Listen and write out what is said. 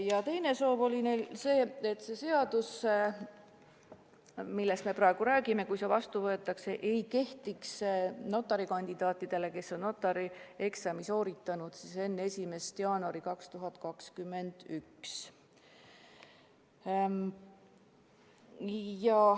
Ja teine soov oli neil see, et kui see seadus, mille eelnõust me praegu räägime, vastu võetakse, ei kehtiks see notari kandidaatidele, kes on notarieksami sooritanud enne 1. jaanuari 2021.